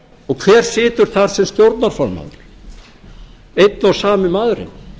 og hver situr þar sem stjórnarformaður einn og sami maðurinn